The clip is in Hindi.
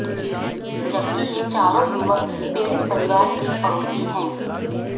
जबकि ये चारों युवक पीड़ित परिवार के पड़ोसी हैं